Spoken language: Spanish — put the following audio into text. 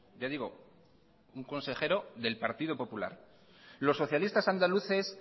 ya digo un consejero del partido popular los socialistas andaluces